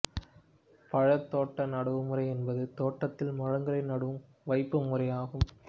பழத் தோட்ட நடவுமுறை என்பது தோட்டத்தில் மரங்களை நடும் வைப்புமுறையாகும்